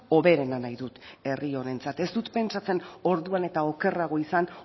hoberena nahi dut herri honentzat ez dut pentsatzen orduan eta okerrago izan